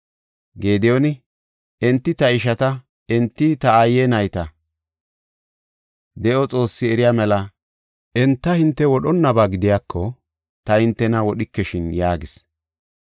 Gediyooni, “Enti ta ishata; enti ta aaye nayta. De7o Xoossi eriya mela enta hinte wodhonnaba gidiyako ta hintena wodhikeshin” yaagis.